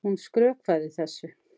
Hún skrökvaði þessu.